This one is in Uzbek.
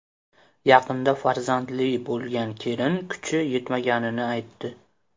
Yaqinda farzandli bo‘lgan kelin kuchi yetmaganini aytdi.